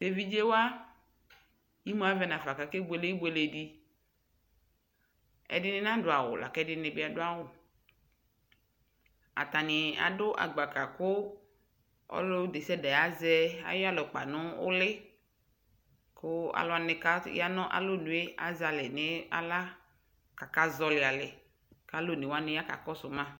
Teviɖʒewa imuavɛ nafa kakebuele ibueledi ɛdini naduawu lakɛdinibi aduawu atanii adu agbaka ku ɔludesiade aʒɛ ayiyalukpa nulii kuu aluuwani kaya nalɔnue aʒalɛ ni awlaa kaka ʒɔlii alɛɛ kaluɔnewani ya kaka kɔsuu ma